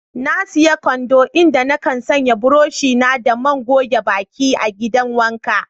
Na siya kwando, inda na kan sanya buroshi na da man goge baki a'gidan wanka.